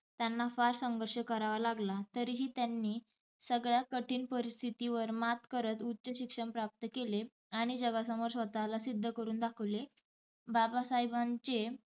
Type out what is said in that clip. त्यांना फार संघर्ष करावा लागला तरीही त्यांनी सगळया कठीण परिस्थीतीवर मात करत उच्च शिक्षण प्राप्त केले आणि जगासमोर स्वतःला सिध्द करून दाखवले. बाबासाहेबांचे